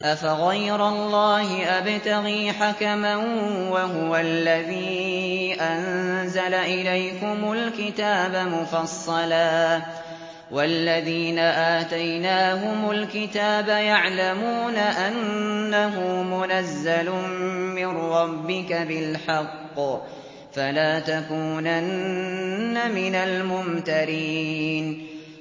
أَفَغَيْرَ اللَّهِ أَبْتَغِي حَكَمًا وَهُوَ الَّذِي أَنزَلَ إِلَيْكُمُ الْكِتَابَ مُفَصَّلًا ۚ وَالَّذِينَ آتَيْنَاهُمُ الْكِتَابَ يَعْلَمُونَ أَنَّهُ مُنَزَّلٌ مِّن رَّبِّكَ بِالْحَقِّ ۖ فَلَا تَكُونَنَّ مِنَ الْمُمْتَرِينَ